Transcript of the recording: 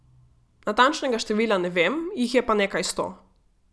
Natančnega števila ne vem, jih je pa nekaj sto.